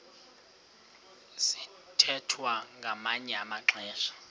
sithwethwa ngamanye amaxesha